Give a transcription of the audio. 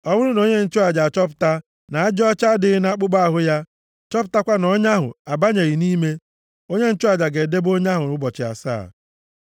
Ọ bụrụ na onye nchụaja achọpụta na ajị ọcha adịghị nʼakpụkpọ ahụ ya, chọpụtakwa na ọnya ahụ abanyeghị nʼime, onye nchụaja ga-edebe onye ahụ ụbọchị asaa.